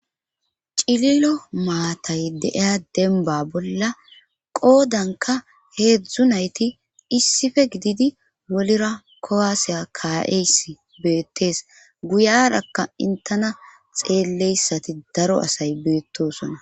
cililo maatay deiya denba bolla qoodanka heedzdzu nayti issife gididi wolira kowaaseya ka7eys beettees guyarakka intena xeelleyssati daro asay beettosona